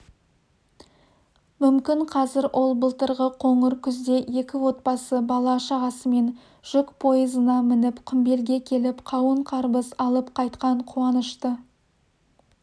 мүмкін қазір ол былтырғы қоңыр күзде екі отбасы бала-шағасымен жүк пойызына мініп құмбелге келіп қауын-қарбыз алып қайтқан қуанышты